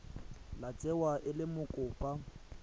tla tsewa e le mokopa